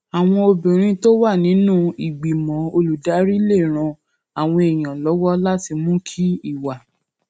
àwọn obìnrin tó wà nínú ìgbìmọ olùdarí lè ran àwọn èèyàn lówó láti mú kí ìwà